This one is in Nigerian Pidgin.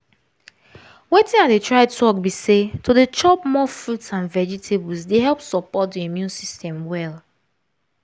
watin i dey try talk be say to dey chop more fruits and vegetables dey help support the immune system well